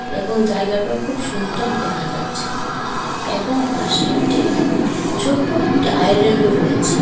এবং জায়গাটা খুব সুন্দর দেখা যাচ্ছে এবং পাশে একটি ছোটো একটি আইল্যান্ড রয়েছে।